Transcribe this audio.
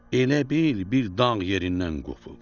Elə bil bir dağ yerindən qopub.